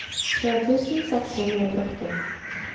tre tusen seks hundre og førti